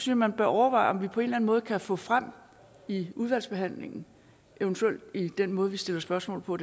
jeg man bør overveje om vi på en eller anden måde kan få frem i udvalgsbehandlingen eventuelt ved den måde vi stiller spørgsmål på